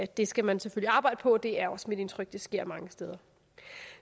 det skal man arbejde på og det er også mit indtryk af det sker mange steder